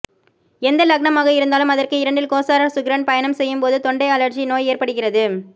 எந்த லக்னமாக இருந்தாலும் அதற்கு இரண்டில் கோசார சுக்கிரன் பயணம் செய்யும்போது தொண்டை அழற்சி நோய் ஏற்படுகிறது